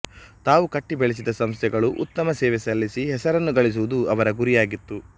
ತಾವು ಕಟ್ಟಿ ಬೆಳೆಸಿದ ಸಂಸ್ಥೆಗಳು ಉತ್ತಮ ಸೇವೆ ಸಲ್ಲಿಸಿ ಹೆಸರನ್ನು ಗಳಿಸುವುದು ಅವರ ಗುರಿಯಾಗಿತ್ತು